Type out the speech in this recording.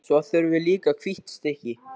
Svo þurfum við líka hvítt stykki.